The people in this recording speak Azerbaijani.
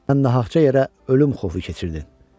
Sən nahaqca yerə ölüm xofu keçirdin.